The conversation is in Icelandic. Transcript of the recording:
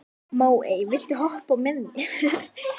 Móey, viltu hoppa með mér?